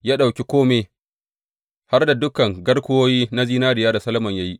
Ya ɗauki kome, har da dukan garkuwoyi na zinariya da Solomon ya yi.